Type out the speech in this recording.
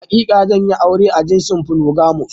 Hakika zanyi aure a jinsin "Polygamous ".